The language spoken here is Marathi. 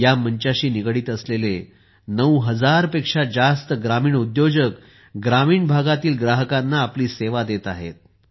या मंचाशी निगडित असलेले 9000 पेक्षा जास्त ग्रामीण उद्योजक ग्रामीण भागातील ग्राहकांना आपली सेवा देत आहेत